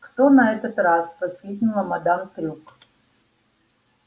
кто на этот раз воскликнула мадам трюк